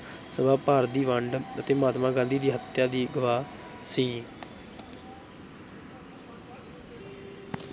ਸਭਾ, ਭਾਰਤ ਦੀ ਵੰਡ ਅਤੇ ਮਹਾਤਮਾ ਗਾਂਧੀ ਦੀ ਹੱਤਿਆ ਦੀ ਗਵਾਹ ਸੀ।